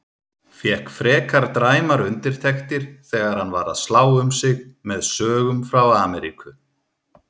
Fékk frekar dræmar undirtektir þegar hann var að slá um sig með sögum frá Ameríku.